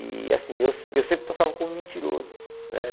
E assim, eu sempre passava como mentiroso, né?